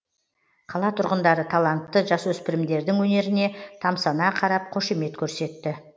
қала тұрғындары талантты жасөспірімдердің өнеріне тамсана қарап қошемет көрсетті